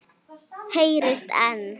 Heyrist enn.